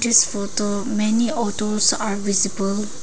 This photo many autos are visible.